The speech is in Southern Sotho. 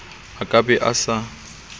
a ka be a sa